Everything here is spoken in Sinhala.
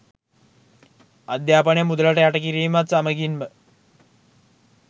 අධ්‍යාපනය මුදලට යට කිරීමත් සමගින්ම